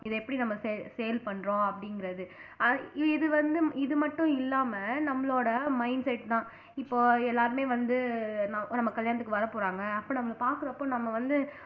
இதை எப்படி நம்ம saw sale பண்றோம் அப்படிங்கிறது அஹ் இது வந்து இது மட்டும் இல்லாம நம்மளோட mindset தான் இப்போ எல்லாருமே வந்து ந நம்ம கல்யாணத்துக்கு வரப் போறாங்க அப்ப நம்மள பாக்குறப்போ நம்ம வந்து